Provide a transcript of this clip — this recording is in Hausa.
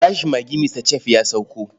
Farashin magin Mr Chef ya sauko.